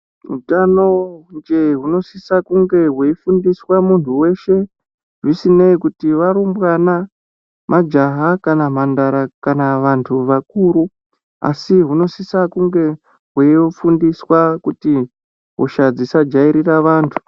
Hutano jee hunosisa kunge hweifundiswa muntu veshe zvisinei kuti varumbwana majaha kana mhandara kana vantu vakuru. Asi hunosise kunge hweifundiswa kuti hosha dzisajairira antu.